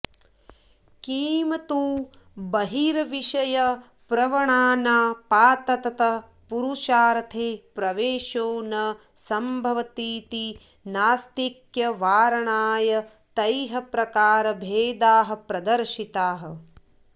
किं तु बहिर्विषयप्रवणानापाततः पुरुषार्थे प्रवेषो न संभवतीति नास्तिक्यवारणाय तैः प्रकारभेदाः प्रदर्शिताः